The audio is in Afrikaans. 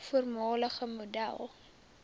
voormalige model